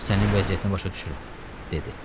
Sənin vəziyyətinə başa düşürəm, dedi.